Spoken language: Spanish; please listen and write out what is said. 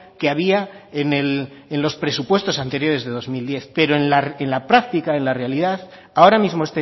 que había en los presupuestos anteriores de dos mil diez pero en la práctica en la realidad ahora mismo